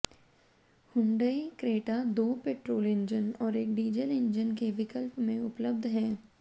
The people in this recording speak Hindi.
हुंडई क्रेटा दो पेट्रोल इंजन और एक डीजल इंजन के विकल्प में उपलब्ध है